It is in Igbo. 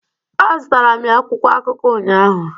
A zụtara m ya akwụkwọ akụko unyaahụ